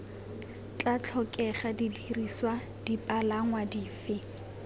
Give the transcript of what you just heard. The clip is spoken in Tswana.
tla tlhokega didirisiwa dipalangwa dife